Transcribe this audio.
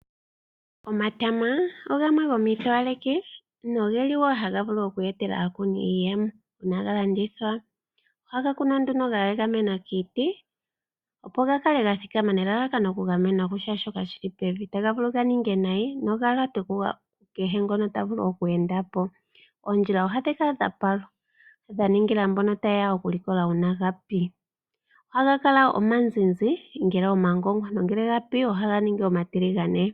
Omatama ogamwe gomiitowaleki nogeli wo haga vulu oku etela aakuni iiyemo uuna galandithwa, ohaga kunwa nduno ga egamena kiiti opo gakale gathikama nelalakano okugamenwa kushaashoka shili pevi, otaga vulu ganinge nayi nenge ga lyatwe kukehe ngono tavulu oku enda po. Oondjila ohadhi kala dha palwa dha ningila mbono taye ya oku likola uuna ga pi, ohaga kala omazizi ngele omagongwa nongele ga pi ohaga ningi omatiligane.